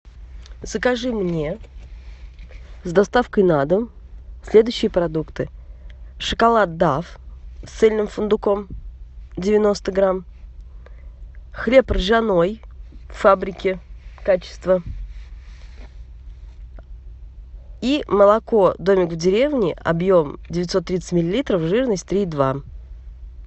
закажи мне с доставкой на дом следующие продукты шоколад дав с цельным фундуком девяносто грамм хлеб ржаной фабрики качество и молоко домик в деревне объем девятьсот тридцать миллилитров жирность три и два